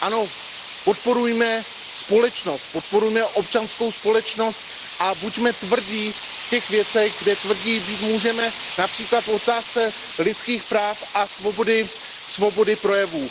Ano, podporujme společnost, podporujme občanskou společnost a buďme tvrdí v těch věcech, kde tvrdí být můžeme, například v otázce lidských práv a svobody projevu.